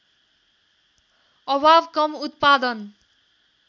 अभाव कम उत्पादन